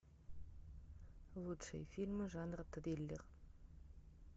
лучшие фильмы жанра триллер